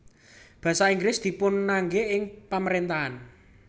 Basa Inggris dipunangge ing pamarentahan